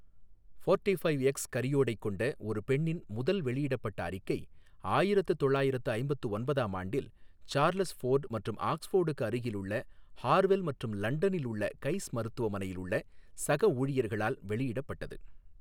Forty five X karyotype கொண்ட ஒரு பெண்ணின் முதல் வெளியிடப்பட்ட அறிக்கை ஆயிரத்து தொள்ளயிரத்து ஐம்பத்து ஒன்பதாம் ஆண்டில் சார்லஸ் ஃபோர்டு மற்றும் ஆக்ஸ்ஃபோர்டுக்கு அருகிலுள்ள ஹார்வெல் மற்றும் லண்டனில் உள்ள கைஸ் மருத்துவமனையில் உள்ள சக ஊழியர்களால் வெளியிடப்பட்டது.